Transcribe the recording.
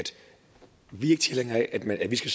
vi ikke er tilhængere af at vi skal